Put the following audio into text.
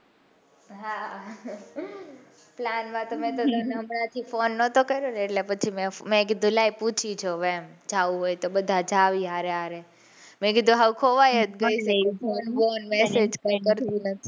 હા plan માં તો હમણાથી phone નતો કર્યો ને એટલે પછી મેં કીધું લાય પૂછી જોઉં એમ જાઉં હોય તો બધા જાહે હરે હરે મેં કીધું મેં કીધું,